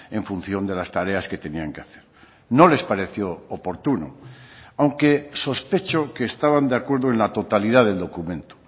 en función de las tareas que tenían que hacer no les pareció oportuno aunque sospecho que estaban de acuerdo en la totalidad del documento